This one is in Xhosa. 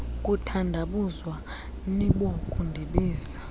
kuthandabuza nibo kundibiza